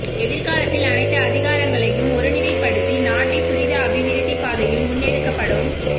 எதிர்காலத்தில் அனைத்து அதிகாரங்களையும் ஒருநிலைப்படுத்தி நாட்டை துரித அபிவிருத்தி பாதையில் முன்னெடுக்கப்படும்